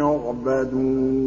يُعْبَدُونَ